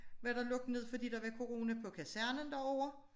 Var der lukket ned fordi der var corona på kasernen derovre